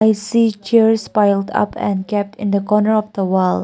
i see chairs piled up and kept in the corner of the wall.